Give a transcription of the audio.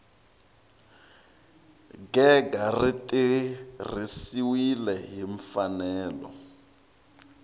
gega ri tirhisiwile hi mfanelo